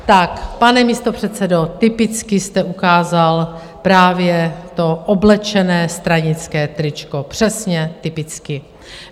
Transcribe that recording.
Tak, pane místopředsedo, typicky jste ukázal právě to oblečené stranické tričko, přesně typicky.